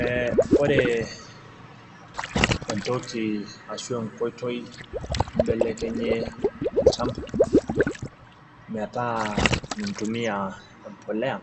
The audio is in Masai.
Ee ore entoki ashu enkoitoi naibelekenyie olchampa, metaa mintumia empuliya